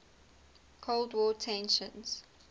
cold war tensions